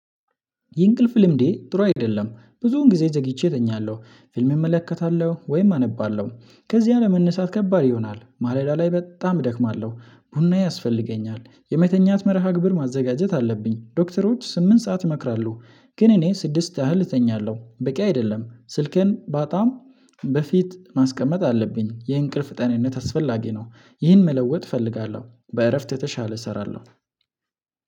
የእንቅልፍ ልምዴ ጥሩ አይደለም ብዙውን ጊዜ ዘግይቼ እጠኛለሁ ፊልም እመለከታለሁ ወይም አነባለሁ ከዚህ አለመነሣት ከባድ ይሆናል ማለዳ ላይ በጣም እደክማለሁ። ቡና ያስፈልገኛል የመተኛት መርሃ ግብር ማዘጋጀት አለብኝ ዶክተሮች ስምንት ሰዓት ይመክራሉ። ግን እኔ ስድስት ያህል እተኛለሁ በቂ አይደለም። ስልክን በጣም በፊት ማስቀመጥ አለብኝ የእንቅልፍ ጤንነት አስፈላጊ ነው። ይህን መለወጥ እፈልጋለሁ በእረፍት የተሻለ እሰራለሁ